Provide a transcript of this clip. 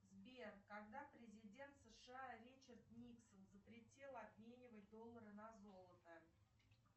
сбер когда президент сша ричард никсон запретил обменивать доллары на золото